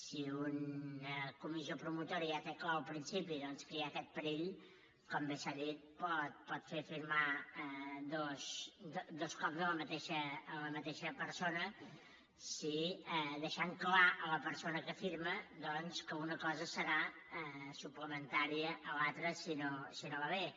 si una comissió promotora ja té clar al principi doncs que hi ha aquest perill com bé s’ha dit pot fer firmar dos cops la mateixa persona deixant clar a la persona que firma que una cosa serà suplementària a l’altra si no va bé